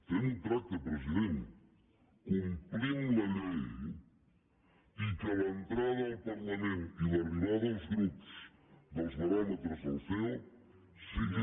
fem un tracte president complim la llei i que l’entrada al parlament i l’arribada als grups dels baròmetres del ceo siguin